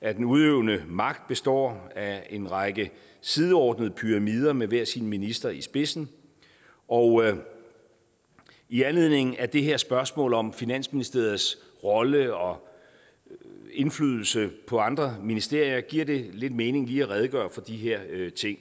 at den udøvende magt består af en række sideordnede pyramider med hver sin minister i spidsen og i anledningen af det her spørgsmål om finansministeriets rolle og indflydelse på andre ministerier giver det lidt mening lige at redegøre for de her ting